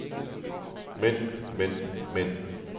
mænd mænd mænd